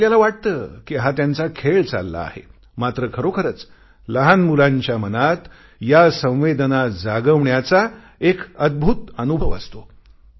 आपल्याला वाटते कि हा त्यांचा खेळ चालला आहे मात्र खरोखरच लहान मुलांच्या मनात या संवेदना जागवण्याचा एक अदभुत अनुभव असतो